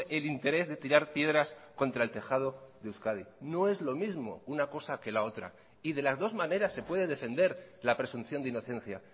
el interés de tirar piedras contra el tejado de euskadi no es lo mismo una cosa que la otra y de las dos maneras se puede defender la presunción de inocencia